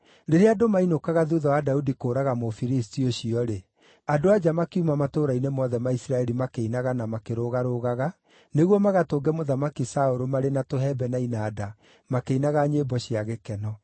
Rĩrĩa andũ mainũkaga, thuutha wa Daudi kũũraga Mũfilisti ũcio-rĩ, andũ-a-nja makiuma matũũra-inĩ mothe ma Isiraeli makĩinaga na makĩrũgarũgaga, nĩguo magatũnge Mũthamaki Saũlũ marĩ na tũhembe na inanda makĩinaga nyĩmbo cia gĩkeno.